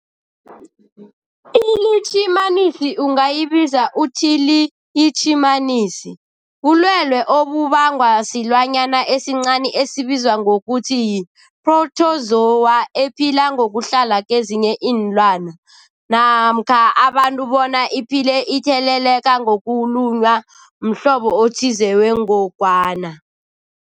iLitjhimanisi ungayibiza uthiyilitjhimanisi, bulwelwe obubangwa silwanyana esincani esibizwa ngokuthiyi-phrotozowa ephila ngokuhlala kezinye iinlwana, namkha abantu bona iphile itheleleka ngokulunywa mhlobo othize wengogwana.